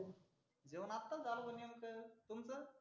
जेवण आताच झालं भाऊ नेमकं. तुमचं?